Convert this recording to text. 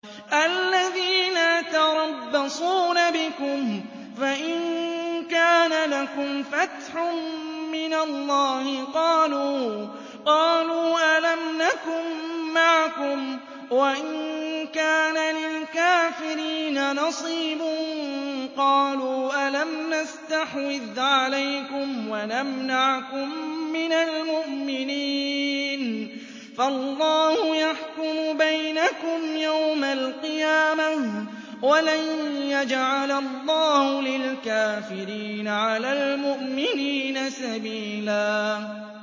الَّذِينَ يَتَرَبَّصُونَ بِكُمْ فَإِن كَانَ لَكُمْ فَتْحٌ مِّنَ اللَّهِ قَالُوا أَلَمْ نَكُن مَّعَكُمْ وَإِن كَانَ لِلْكَافِرِينَ نَصِيبٌ قَالُوا أَلَمْ نَسْتَحْوِذْ عَلَيْكُمْ وَنَمْنَعْكُم مِّنَ الْمُؤْمِنِينَ ۚ فَاللَّهُ يَحْكُمُ بَيْنَكُمْ يَوْمَ الْقِيَامَةِ ۗ وَلَن يَجْعَلَ اللَّهُ لِلْكَافِرِينَ عَلَى الْمُؤْمِنِينَ سَبِيلًا